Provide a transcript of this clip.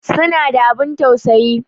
Suna da abun tausayi